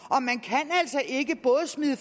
og ikke både smide